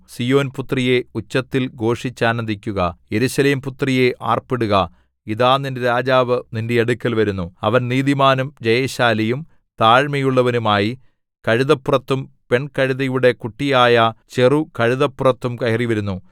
സീയോൻപുത്രിയേ ഉച്ചത്തിൽ ഘോഷിച്ചാനന്ദിക്കുക യെരൂശലേം പുത്രിയേ ആർപ്പിടുക ഇതാ നിന്റെ രാജാവ് നിന്റെ അടുക്കൽ വരുന്നു അവൻ നീതിമാനും ജയശാലിയും താഴ്മയുള്ളവനും ആയി കഴുതപ്പുറത്തും പെൺകഴുതയുടെ കുട്ടിയായ ചെറുകഴുതപ്പുറത്തും കയറിവരുന്നു